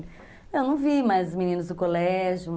Eu não vi mais meninos do colégio.